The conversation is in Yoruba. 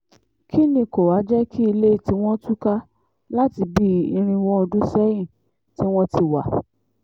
kín ni kó wàá jẹ́ kí ilé tiwọn túká láti bíi irínwó ọdún sẹ́yìn tí wọ́n ti wá